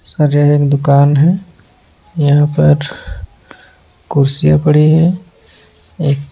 एक दुकान है यहाँ पर कुर्सियाँ पड़ी है एक --